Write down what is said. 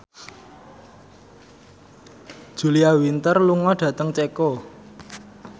Julia Winter lunga dhateng Ceko